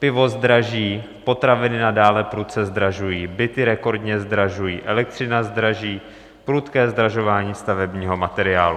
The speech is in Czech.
... pivo zdraží, potraviny nadále prudce zdražují, byty rekordně zdražují, elektřina zdraží, prudké zdražování stavebního materiálu.